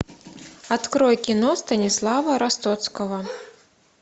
открой кино станислава ростоцкого